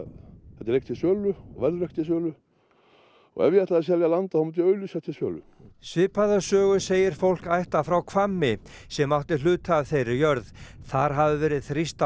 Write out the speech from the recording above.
þetta er ekki til sölu og verður ekki til sölu og ef ég ætlaði að selja land þá myndi ég auglýsa það til sölu svipaða sögu segir fólk ættað frá Hvammi sem átti hluta af þeirri jörð þar hafi verið þrýst á